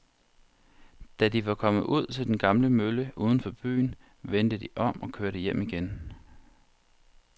Da de var kommet ud til den gamle mølle uden for byen, vendte de om og kørte hjem igen.